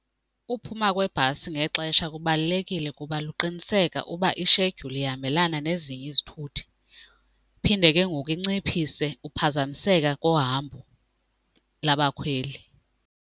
Uphuma kwebhasi ngexesha kubalulekile kuba luqiniseka uba ishedyuli ihambelana nezinye izithuthi phinde ke ngoku inciphise uphazamiseka kohambo labakhweli.